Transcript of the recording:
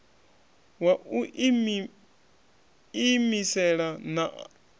wa u iimisela a na